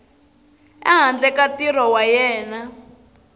ehandle ka ntirho wa yena